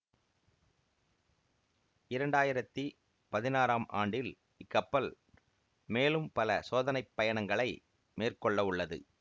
இரண்டாயிரத்தி பதினாறாம் ஆண்டில் இக்கப்பல் மேலும் பல சோதனைப் பயணங்களை மேற்கொள்ளவுள்ளது